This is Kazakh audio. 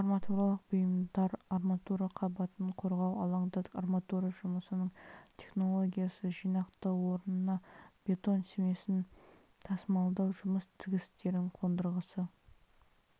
арматуралық бұйымдар арматура қабатын қорғау алаңда арматура жұмысының технологиясы жинақтау орнына бетон смесін тасымалдау жұмыс тігістерінің қондырғысы